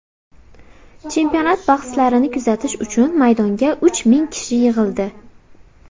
Chempionat bahslarini kuzatish uchun maydonga uch ming kishi yig‘ildi.